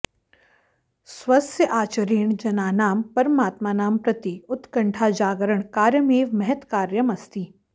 स्वस्य आचरणेन जनानां परमात्मानं प्रति उत्कण्ठाजागरणकार्यमेव महत् कार्यम् अस्ति